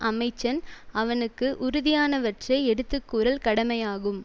அமைச்சன் அவனுக்கு உறுதியானவற்றை எடுத்து கூறல் கடமையாகும்